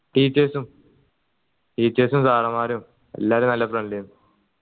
teachers ഉം teachers ഉം sir മാരും എല്ലാരും നല്ല friendly ഏന്